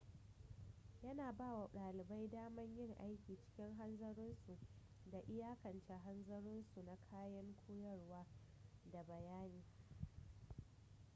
yana ba wa dalibai daman yin aiki cikin hanzarinsu da iyakance hanzarinsu na kayan koyarwa da bayani